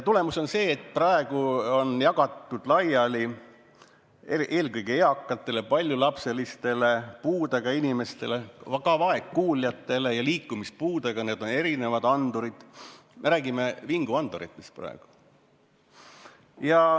Tulemus on see, et praegu on jagatud eelkõige eakatele, paljulapselistele, puudega inimestele, ka vaegkuuljatele erinevaid vingugaasiandureid.